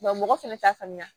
mɔgɔ fɛnɛ t'a faamuya